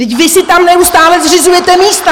Vždyť vy si tam neustále zřizujete místa!